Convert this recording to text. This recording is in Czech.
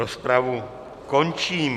Rozpravu končím.